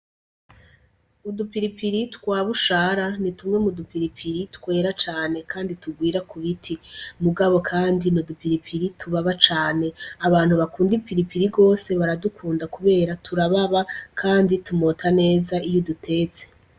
Udupiripiri twabushara ni tumwe mu dupiripiri twera cane kandi tugwira kubiti, mugabo kandi n'udupiripiri tubaba cane abantu bakund'ipiripiri gose baradukundaubera turababa kandi tumota neza iy'udutetse.